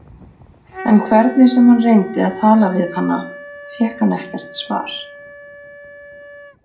En hvernig sem hann reyndi að tala við hana fékk hann ekkert svar.